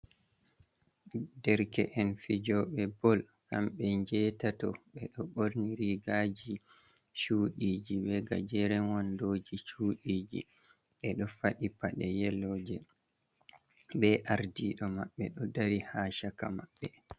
Derke en fijoɓe bal kamɓe njetato, ɓeɗo ɓorni rigaji chuɗiji be gajerewonɗoji chudiji. ɓeɗo faɗi paɗe yeloje be ardiɗo maɓɓe ɗo dari ha caka maɓɓe.